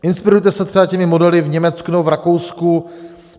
Inspirujte se třeba těmi modely v Německu nebo v Rakousku.